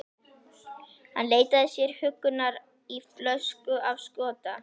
Hann leitaði sér huggunar í flösku af skota.